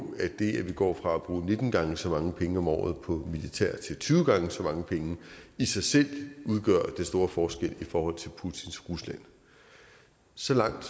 at det at vi går fra at bruge nitten gange så mange penge om året på militær til tyve gange så mange penge i sig selv udgør den store forskel i forhold til putins rusland så langt